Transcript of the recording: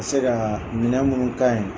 Se ka minɛn minnu kanye